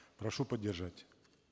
прошу поддержать